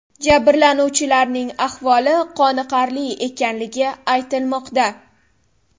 Jabrlanuvchilarning ahvoli qoniqarli ekanligi aytilmoqda.